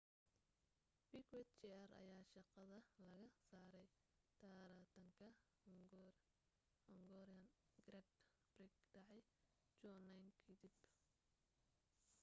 piquet jr ayaa shaqada laga saaray taratanka hungarian grand prix dhacay 2009 ka dib